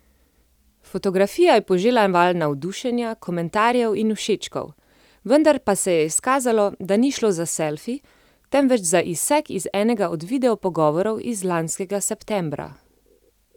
Fotografija je požela val navdušenja, komentarjev in všečkov, vendar pa se je izkazalo, da ni šlo za selfi, temveč za izsek iz enega od videopogovorov iz lanskega septembra.